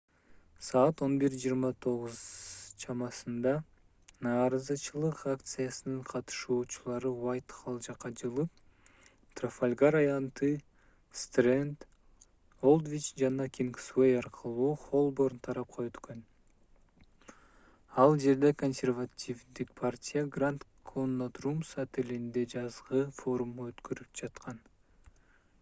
саат 11:29 чамасында нааразычылык акциясынын катышуучулары уайтхолл жакка жылып трафалгар аянты стренд олдвич жана кингсуэй аркылуу холборн тарапка өткөн ал жерде консервативдик партия гранд коннот румс отелинде жазгы форум өткөрүп жаткан